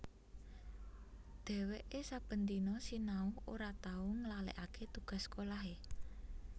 Dheweke saben dina sinau ora tau nglalekake tugas sekolahe